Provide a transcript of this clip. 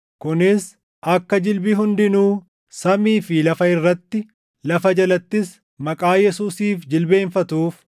Kunis akka jilbi hundinuu samii fi lafa irratti, lafa jalattis, maqaa Yesuusiif jilbeenfatuuf.